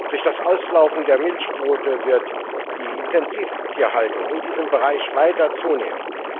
Durch das Auslaufen der Milchquote wird die Intensivtierhaltung in diesem Bereich weiter zunehmen.